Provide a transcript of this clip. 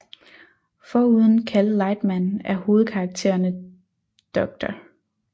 Foruden Cal Lightman er hovedkarakterne Dr